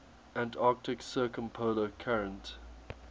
antarctic circumpolar current